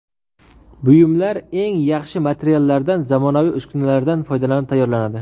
Buyumlar eng yaxshi materiallardan zamonaviy uskunalardan foydalanib tayyorlanadi.